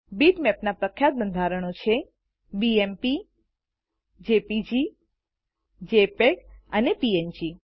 બીટમેપના પ્રખ્યાત બંધારણો છે160 બીએમપી જેપીજી જેપીઇજી અને પીએનજી